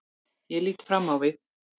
Ég lít fram á við.